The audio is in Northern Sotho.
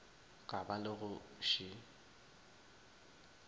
ka ba le go še